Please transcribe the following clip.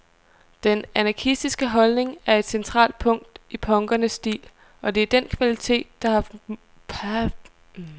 Den anarkistiske holdning er et centralt punkt i punkernes stil, og det er den kvalitet, der har haft størst indflydelse på den almindelige mode.